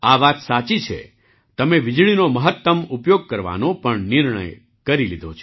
આ વાત સાચી છે તમે વીજળીનો મહત્ત્મ ઉપયોગ કરવાનો નિર્ણય કરી લીધો છે